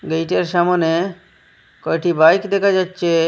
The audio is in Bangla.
গেইটের সামোনে কয়টি বাইক দেখা যাচ্ছে।